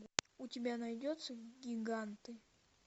у тебя найдется гиганты